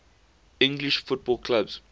english football clubs